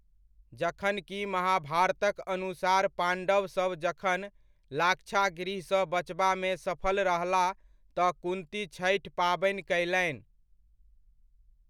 जखन कि महाभारतक अनुसार पाण्डव सब जखन लाक्षागृहसँ बचबामे सफल रहलाह तँ कुन्ती छठि पाबनि कयलनि।